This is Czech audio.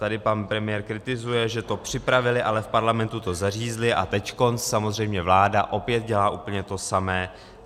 Tady pan premiér kritizuje, že to připravili, ale v Parlamentu to zařízli, a teď samozřejmě vláda opět dělá úplně to samé.